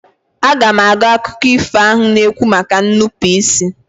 Aga m agụ akụkọ ifo ahụ na-ekwu maka nnupụisi.